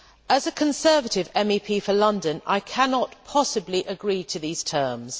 As a Conservative MEP for London I cannot possibly agree to these terms.